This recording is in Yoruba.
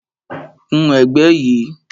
Kun ẹ̀gbẹ́ yìí